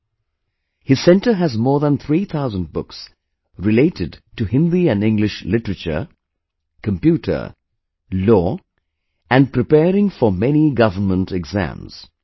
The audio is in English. , His centre has more than 3000 books related to Hindi and English literature, computer, law and preparing for many government exams